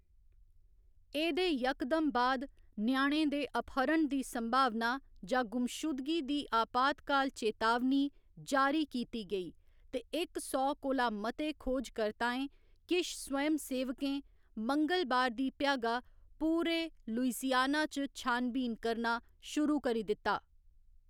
एह्‌‌‌दे यकदम बाद ञ्याणें दे अपहरण दी संभावना जां गुमशुदगी दी अपातकाल चेतावनी जारी कीती गेई, ते इक सौ कोला मते खोजकर्ताएं, किश स्वयंसेवकें, मंगलबार दी भ्यागा पूरे लुइसियाना च छानबीन करना शुरू करी दित्ता।